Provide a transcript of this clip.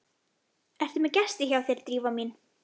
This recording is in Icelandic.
Ertu með gest hjá þér, Drífa mín?